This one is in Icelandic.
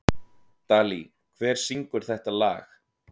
Dalí, hver syngur þetta lag?